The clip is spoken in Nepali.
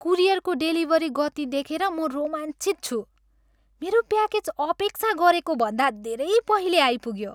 कुरियरको डेलिभरी गति देखेर म रोमाञ्चित छु। मेरो प्याकेज अपेक्षा गरेकोभन्दा धेरै पहिले आइपुग्यो!